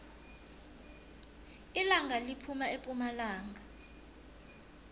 ilanga liphuma epumalanga